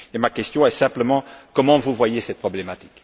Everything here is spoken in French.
Ma question est simplement comment voyez vous cette problématique?